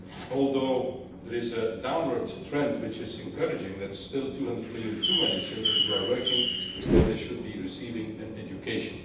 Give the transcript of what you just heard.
Although there is a downward trend, which is encouraging, that is still 200 million too many children who are working when they should be receiving an education.